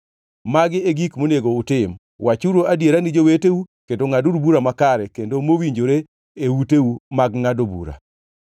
Magi e gik monego utim: Wachuru adiera ne joweteu kendo ngʼaduru bura makare kendo mowinjore e uteu mag ngʼado bura;